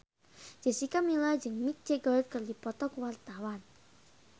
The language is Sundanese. Jessica Milla jeung Mick Jagger keur dipoto ku wartawan